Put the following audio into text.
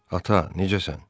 Ata, necəsən?